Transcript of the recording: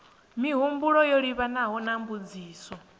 mihumbulo yo livhanaho na mbudziso